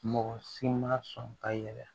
Mɔgɔ si ma sɔn ka yɛlɛ